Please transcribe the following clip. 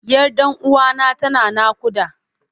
Yar ɗan uwana tana naƙuda.